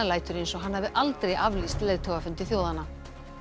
lætur eins og hann hafi aldrei aflýst leiðtogafundi þjóðanna